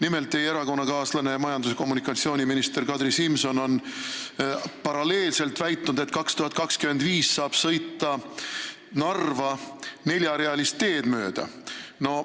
Nimelt on teie erakonnakaaslane majandus- ja taristuminister Kadri Simson väitnud, et aastal 2025 saab Narva sõita neljarealist teed mööda.